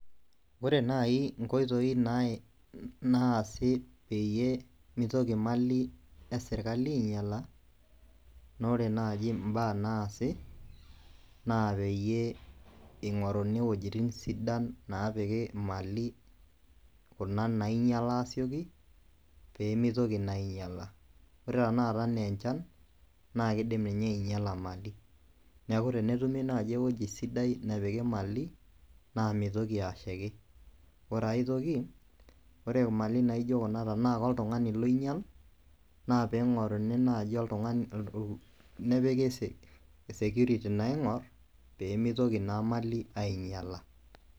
Ore naaji inkoitoi naasi peyie meitoki imali esirkali ainyiala naa ore naaji impaa naasi naa peeyie eing'oruni iwuejitin sidan naapiki imali kuna nemeinyiala aasioki peemeitoki naa ainyiala ore tenakata aenaa enchan na keidim ninye ainyiala imali neeku tenetumi naaji ewueji sidai nepiki imali naa meitoki ashaiki ore aitoki ore peetii naaji oloinyial naa peing'oruni naaji security laing'or peemeitoki naa imali ainyiala.